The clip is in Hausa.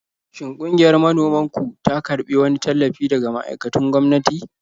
Shin ƙungiyar manoman ku ta karbi wani tallafi daga ma'aikatun gwamnati?